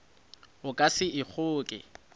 o ka se e kgoke